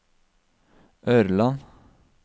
Ørland